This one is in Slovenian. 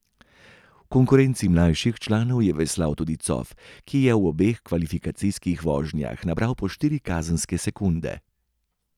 V konkurenci mlajših članov je veslal tudi Cof, ki je v obeh kvalifikacijskih vožnjah nabral po štiri kazenske sekunde.